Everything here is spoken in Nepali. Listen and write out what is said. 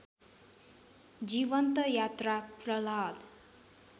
जीवन्त यात्रा प्रह्लाद